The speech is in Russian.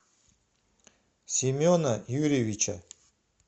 семена юрьевича